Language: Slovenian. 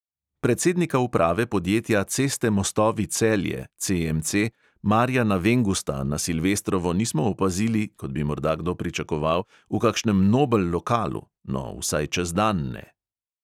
Predsednika uprave podjetja ceste mostovi celje marjana vengusta na silvestrovo nismo opazili, kot bi morda kdo pričakoval, v kakšnem nobel lokalu, no, vsaj čez dan ne.